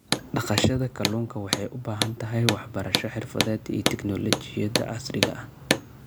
Dhaqashada kalluunka waxay u baahan tahay waxbarasho xirfadeed iyo tignoolajiyada casriga ah.